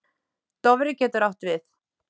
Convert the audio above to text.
Dofri getur átt við